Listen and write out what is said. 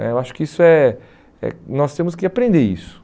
né Eu acho que isso é é... nós temos que aprender isso.